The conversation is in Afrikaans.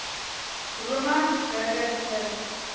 romans burger willie